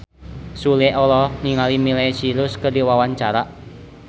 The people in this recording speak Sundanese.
Sule olohok ningali Miley Cyrus keur diwawancara